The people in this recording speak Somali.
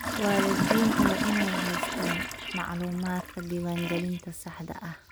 Waalidiintu waa inay haystaan ??macluumaadka diiwaangelinta saxda ah.